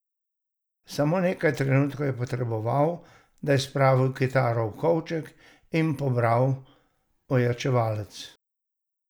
Samo nekaj trenutkov je potreboval, da je spravil kitaro v kovček in pobral ojačevalec.